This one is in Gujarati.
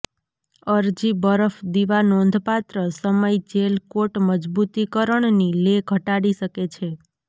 અરજી બરફ દીવા નોંધપાત્ર સમય જેલ કોટ મજબૂતીકરણની લે ઘટાડી શકે છે